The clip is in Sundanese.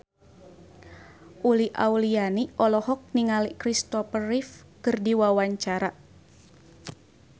Uli Auliani olohok ningali Christopher Reeve keur diwawancara